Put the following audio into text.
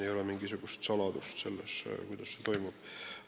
Ei ole mingisugust saladust selles, kuidas see toimub.